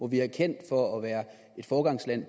vi er kendt for at være et foregangsland